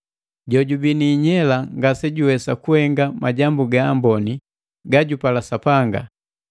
Jojubii ni inyela ngasejuwesa kuhenga majambu ga amboni gajupala Sapanga.